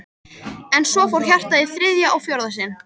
Og svo fór hjartað í þriðja og fjórða sinn.